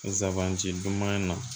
Zandi duman na